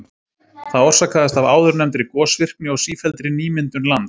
Það orsakast af áðurnefndri gosvirkni og sífelldri nýmyndun lands.